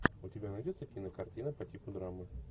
у тебя найдется кинокартина по типу драмы